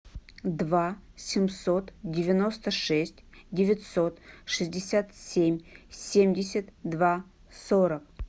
два семьсот девяносто шесть девятьсот шестьдесят семь семьдесят два сорок